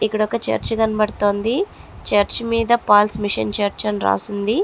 ఇక్కడొక చర్చ్ కనబడుతోంది. చర్చ్ మీద పాల్స్ మిషన్ చర్చ్ అని రాసుంది.